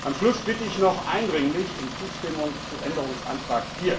Am Schluss bitte ich noch eindringlich um Zustimmung zu Änderungsantrag